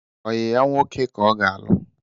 Oyi ya nwoke ka ọ ga-alụ